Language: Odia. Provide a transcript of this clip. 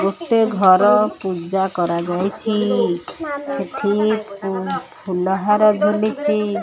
ଗୋଟେ ଘର ପୂଜା କରାଯାଇଛି ସେଠି ଇ ପୁ ଫୁଲହାର ଝୁଲିଛି।